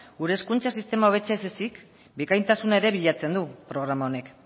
gure hezkuntza sistema hobetzea ez ezik bikaintasuna ere bilatzen du programa honek